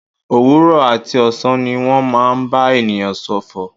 Òwúrọ̀ àti ọ̀sán ni wọ́n máa ń bá ènìyàn ṣòfò.